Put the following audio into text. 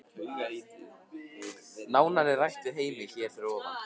Nánar er rætt við Heimi hér fyrir ofan.